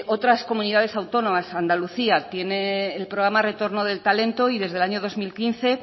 otra comunidades autónomas andalucía tiene el programa retorno del talento y desde el año dos mil quince